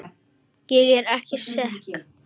Ég er ekki sek.